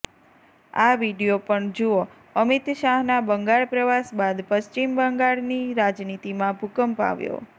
આ વીડિયો પણ જુઓઃ અમિત શાહના બંગાળ પ્રવાસ બાદ પશ્ચિમ બંગાળની રાજનીતિમાં ભુકંપ આવ્યો